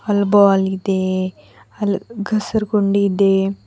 ಅಲ್ ಬಾಲ್ ಇದೆ ಅಲ್ ಗಸ್ರು ಗುಂಡಿ ಇದೆ.